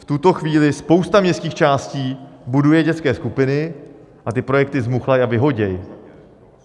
V tuto chvíli spousta městských částí buduje dětské skupiny a ty projekty zmuchlají a vyhodí.